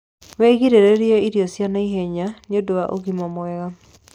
Wigiririre irio cia naihenya nĩũndũ wa ũgima mwega